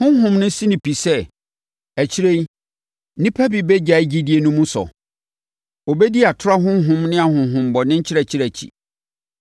Honhom no si no pi sɛ, akyire yi, nnipa bi bɛgyae gyidie no mu sɔ. Wɔbɛdi atorɔ ahonhom ne ahonhommɔne nkyerɛkyerɛ akyi.